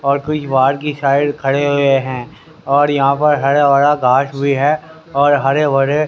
और कुछ बाहर की साइड खड़े हुए हैं औड यहां पर हरा भरा घास भी है और हरे भरे--